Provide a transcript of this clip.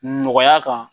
Nɔgɔya kan